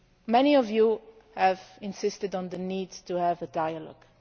Many of you have insisted on the need to have a dialogue.